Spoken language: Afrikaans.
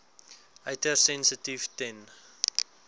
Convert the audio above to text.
uiters sensitief ten